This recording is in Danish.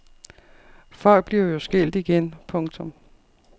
Folk bliver jo skilt igen. punktum